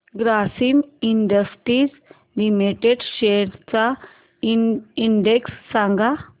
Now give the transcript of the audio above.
Grasim Industries Limited shares चा index सांगा